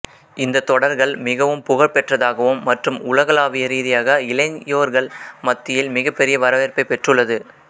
இந்த தொடர்கள் மிகவும் புகழ் பெற்றதாகவும் மற்றும் உலகளாவிய ரீதியாக இளையோர்கள் மத்தியில் மிகப்பெரிய வரவேற்பை பெற்றுள்ளது